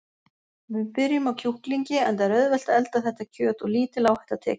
Við byrjum á kjúklingi enda er auðvelt að elda þetta kjöt og lítil áhætta tekin.